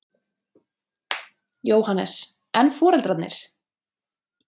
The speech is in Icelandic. Jóhannes: En foreldrarnir?